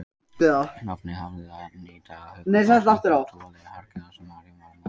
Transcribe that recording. Nafnið hafði þannig í hugum fólks einhverja trúarlega helgi þar sem María var móðir Jesú.